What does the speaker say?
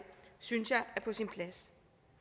synes jeg er på sin plads